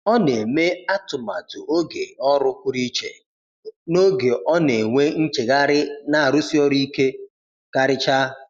Ọ na-eme atụmatụ oge ọrụ pụrụ iche n’oge ọ na-enwe nchegharị na arụsi ọrụ ike karịcha.